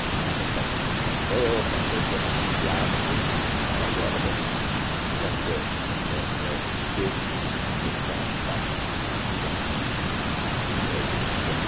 A geada pas passou, passou o tempo de geada tudo, então agora vamos o café é era seco, secado lá no no próprio pé de café,